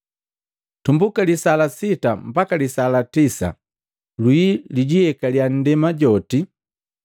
Tumbuka lisaa la sita mbaka lisaa la tisa, lwii lwijiyekalia ndema joti.